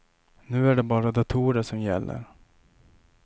Nu är det bara datorer som gäller.